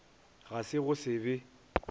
ga se go se be